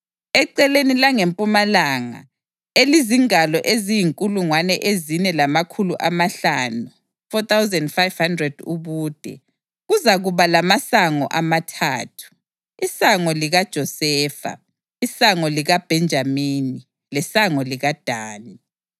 Eceleni langempumalanga, elizingalo eziyinkulungwane ezine lamakhulu amahlanu (4,500) ubude, kuzakuba lamasango amathathu: isango likaJosefa, isango likaBhenjamini lesango likaDani.